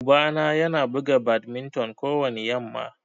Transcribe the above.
Uba na Yana buga badminton kowani yamma.